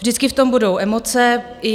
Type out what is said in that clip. Vždycky v tom budou emoce.